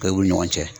u ni ɲɔgɔn cɛ